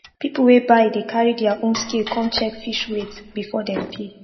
people wey buy dey carry their own scale come check fish weight before dem pay